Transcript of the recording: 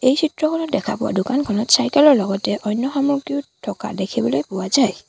এই চিত্ৰখনত দেখা পোৱা দোকানখনত চাইকেল ৰ লগতে অন্য সামগ্ৰীও থকা দেখিবলৈ পোৱা যায়।